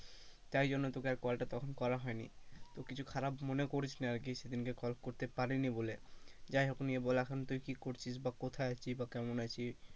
তাই জন্য তোকে আর call টা তখন করা হয়নি, তো কিছু খারাপ মনে করিস না আর কি সেদিন কল করতে পারিনি বলে, যাই হোক নিয়ে বল এখন তুই কি করছিস বা কোথায় আছিস বা কেমন আছিস,